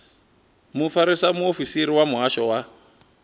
mufarisa muofisiri wa muhasho wa